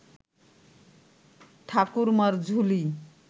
Thakurmar Jhuli